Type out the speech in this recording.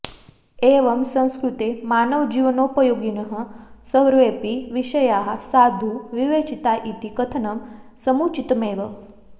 एवं संस्कृते मानवजीवनोपयोगिनः सर्वेऽपि विषयाः साधु विवेचिता इति कथनं समुचितमेव